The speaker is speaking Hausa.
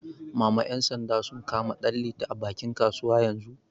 Mama ƴan sanda sun kama Danliti a bakin kasuwa yanzu